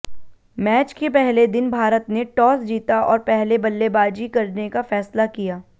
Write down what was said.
match के पहले दिन भारत ने टॉस जीता और पहले बल्लेबाजी करने का फैसला किया